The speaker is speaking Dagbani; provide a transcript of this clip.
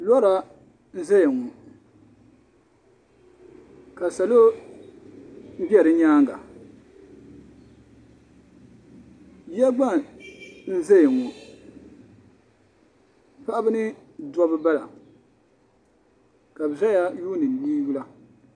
Lɔra n zaya ŋɔ ka salo bɛ di yɛanga yiya gba n zaya ŋɔ paɣaba ni dabba n bala ka bi zaya n yuuni nini yula.